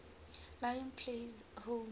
lions play home